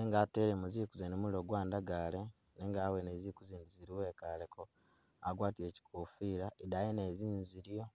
mat- atelemo zingu mulilo gwandagale nenga awene ziku zindi ziliwo ekaleko agwatile kyikofila edayi nayo zingu ziliyo